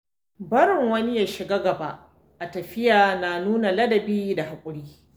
Barin wani ya shiga gaba a tafiya na nuna ladabi da haƙuri.